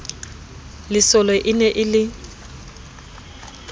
lesole e ne e le